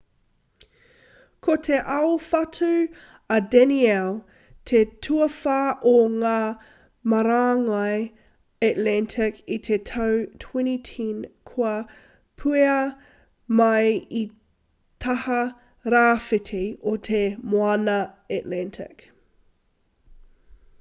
ko te aowhatu a danielle te tuawhā o ngā marangai atlantic i te tau 2010 kua puea mai i te taha rāwhiti o te moana atlantic